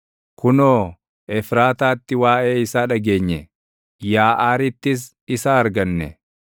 Kunoo, Efraataatti waaʼee isaa dhageenye; Yaaʼaarittis isa arganne: